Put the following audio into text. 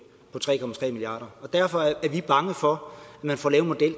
derfor er vi bange for at man får lavet en